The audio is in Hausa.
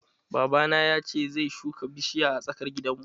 Babana ya ce zai shuka bishiya a tsakar gidanmu.